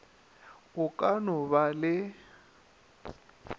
o ka no ba le